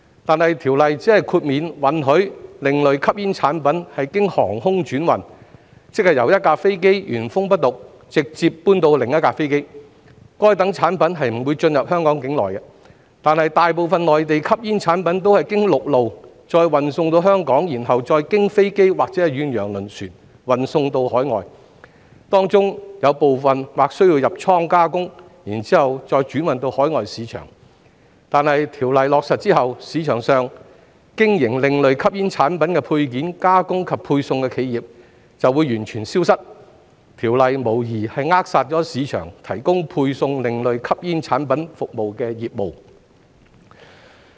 但是，《條例草案》只豁免允許另類吸煙產品經航空轉運，即由一架飛機原封不動直接轉到另一架飛機，該等產品不會進入香港境內，但大部分內地吸煙產品都是經陸路運送到香港，然後再經飛機或遠洋輪船運送到海外，當中有部分或須入倉加工，然後再轉運到海外市場，但《條例草案》落實後，市場上經營另類吸煙產品的配件、加工及配送的企業，就會完全消失，《條例草案》無疑扼殺市場提供配送另類吸煙產品服務的業務。